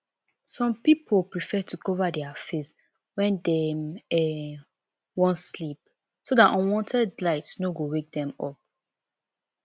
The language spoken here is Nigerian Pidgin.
some pipo prefer to cover their face when dem um wan sleep so dat unwanted light no go wake dem up